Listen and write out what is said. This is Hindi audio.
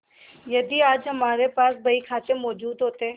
यदि आज हमारे पास बहीखाते मौजूद होते